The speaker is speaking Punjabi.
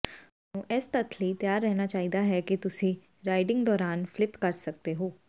ਤੁਹਾਨੂੰ ਇਸ ਤੱਥ ਲਈ ਤਿਆਰ ਰਹਿਣਾ ਚਾਹੀਦਾ ਹੈ ਕਿ ਤੁਸੀਂ ਰਾਈਡਿੰਗ ਦੌਰਾਨ ਫਲਿਪ ਸਕਦੇ ਹੋ